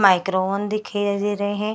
माइग्रोन दिखाईया दे रहे हैं।